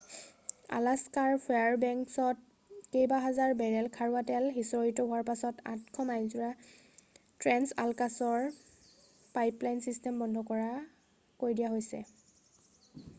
আলাস্কাৰ ফেয়াৰবেংকছত কেইবাহাজাৰ বেৰেল খাৰুৱা তেল সিঁচৰিত হোৱাৰ পাছতে 800 মাইলজোৰা ট্ৰেন্স-আলাকাছ পাইপলাইন ছিষ্টেম বন্ধ কৰি দিয়া হৈছে